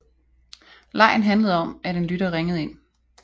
Legen handlede om at en lytter ringede ind